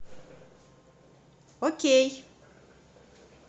окей